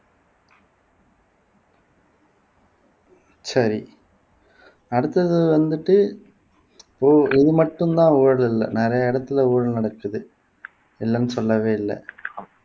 சரி அடுத்தது வந்துட்டு இது இது மட்டும்தான் ஊழல் இல்லை நிறைய இடத்துல ஊழல் நடக்குது இல்லைன்னு சொல்லவே இல்லை